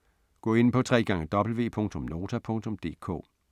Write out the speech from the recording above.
Gå ind på www.nota.dk